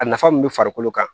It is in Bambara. A nafa mun be farikolo kan